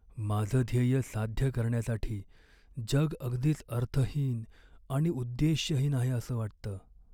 माझं ध्येय साध्य करण्यासाठी जग अगदीच अर्थहीन आणि उद्देश्यहीन आहे असं वाटतं.